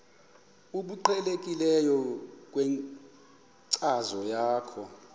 obuqhelekileyo kwinkcazo yakho